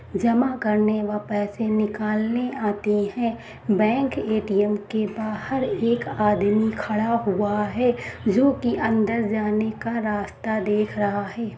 जमा करने व पैसे निकालने आते है बैंक ए.टी.एम के बाहर एक आदमी खड़ा हुआ है जो की अंदर जाने का रास्ता देख रहा है।